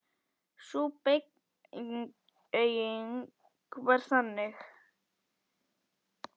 Sú beyging var þannig